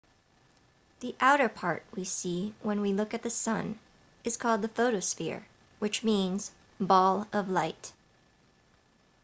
the outer-part we see when we look at the sun is called the photosphere which means ball of light